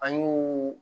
An y'o